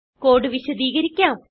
code വിശദികരിക്കാം